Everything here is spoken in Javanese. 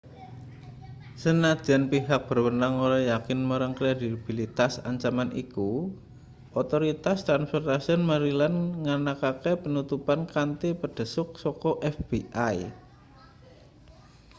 senajan pihak berwenang ora yakin marang kredibilitas ancaman iku otoritas transportaion maryland nganakake penutupan kanthi pandhesuk saka fbi